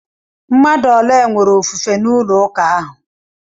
Mmadụ ole nwere ofufe n'ụlọ ụka ahụ?